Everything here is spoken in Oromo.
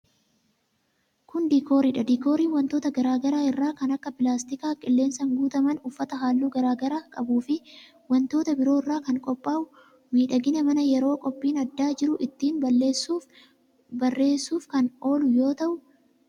Kun, diikoorii dha. Diikooriin wantoota garaa garaa irraa kan akka pilaastika qilleensaan guutaman, uffata haalluu garaa garaa qabuu fi wantoota biroo irraa kan qophaa'u miidhagina manaa yeroo qophiin addaa jiru ittiin bareessuuf kan oolu yoo ta'u,